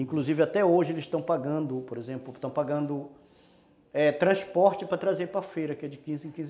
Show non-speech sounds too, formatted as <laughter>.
Inclusive, até hoje, eles estão pagando, por exemplo, estão pagando, é, transporte para trazer para feira, que é de quinze em <unintelligible>